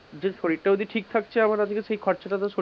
নিজের শরীরটা যদি ঠিক থাকছে আবার আজকে সেই খরচটা তো,